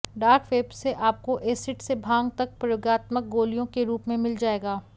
dark web से आपको acid से भांग तक प्रयोगात्मक गोलियों के रूप में मिल जाएगा